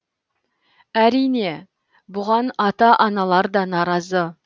әрине бұған ата аналар да наразы